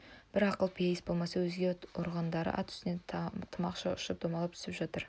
бір ақылпейіс болмаса өзге ұрғандары ат үстінен тымақша ұшып домалап түсіп жатыр